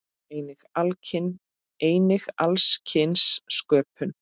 Einnig alls kyns sköpun.